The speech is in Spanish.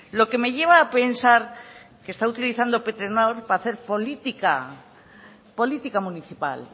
lo que me lleva a pensar que está utilizando petronor para hacer política política municipal